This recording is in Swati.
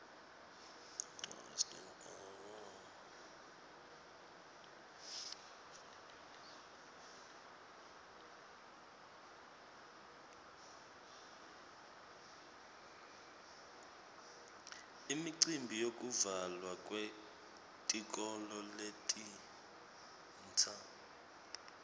imicimbi yekuvulwa kwetikolo letintsa